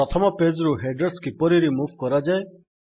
ପ୍ରଥମ ପେଜ୍ ରୁ ହେଡର୍ସ କିପରି ରିମୁଭ୍ କରାଯାଏ